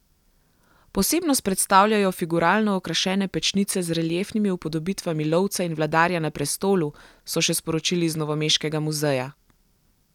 Posebnost predstavljajo figuralno okrašene pečnice z reliefnimi upodobitvami lovca in vladarja na prestolu, so še sporočili iz novomeškega muzeja.